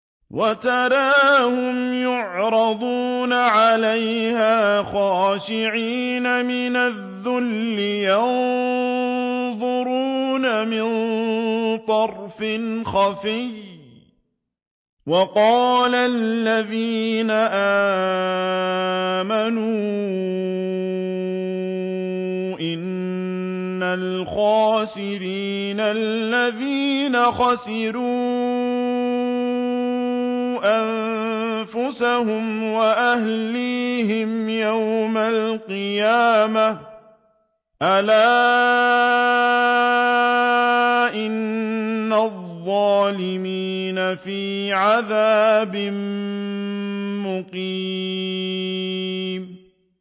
وَتَرَاهُمْ يُعْرَضُونَ عَلَيْهَا خَاشِعِينَ مِنَ الذُّلِّ يَنظُرُونَ مِن طَرْفٍ خَفِيٍّ ۗ وَقَالَ الَّذِينَ آمَنُوا إِنَّ الْخَاسِرِينَ الَّذِينَ خَسِرُوا أَنفُسَهُمْ وَأَهْلِيهِمْ يَوْمَ الْقِيَامَةِ ۗ أَلَا إِنَّ الظَّالِمِينَ فِي عَذَابٍ مُّقِيمٍ